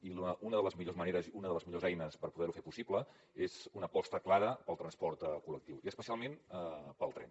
i una de les millors maneres i una de les millors eines per poder ho fer possible és una aposta clara pel transport col·lectiu i especialment pel tren